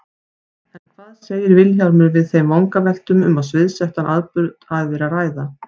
En hvað segir Vilhjálmur við þeim vangaveltum að um sviðsettan atburð hafi verið að ræða?